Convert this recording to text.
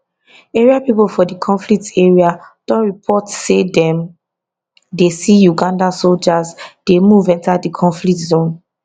area pipo for di conflict area don report say dem dey see uganda soldiers dey move enta di conflict zone